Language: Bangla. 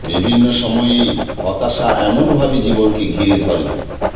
বিভিন্ন সময়েই হতাশা এমন ভাবে জীবনকে ঘিরে ধরে